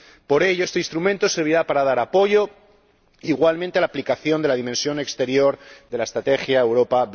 Por ello este Instrumento servirá para apoyar igualmente la aplicación de la dimensión exterior de la Estrategia Europa